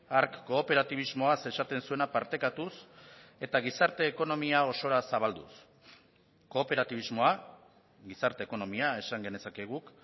hark kooperatibismoaz esaten zuena partekatuz eta gizarte ekonomia osora zabalduz kooperatibismoa gizarte ekonomia esan genezake guk